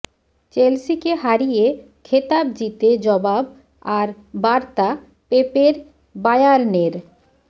চেলসিকে হারিয়ে খেতাব জিতে জবাব আর বার্তা পেপের বার্য়ানের